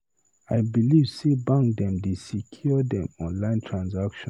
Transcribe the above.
I beliv sey bank dem dey secure dem online transaction.